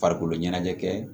Farikolo ɲɛnajɛ kɛ